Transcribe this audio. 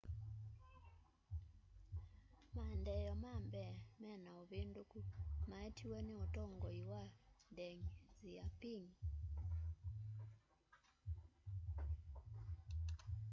maendeeo ma mbee me na uvinduku maetiwe ni utongoi wa deng xiaoping